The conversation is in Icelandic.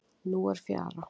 Nú er fjara.